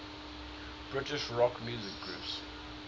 british rock music groups